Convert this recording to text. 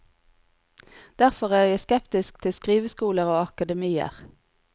Derfor er jeg skeptisk til skriveskoler og akademier.